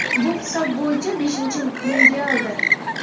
Bu hisob bo‘yicha beshinchi mundialdir.